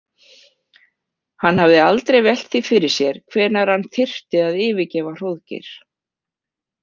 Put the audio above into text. Hann hafði aldrei velt því fyrir sér hvenær hann þyrfti að yfirgefa Hróðgeir.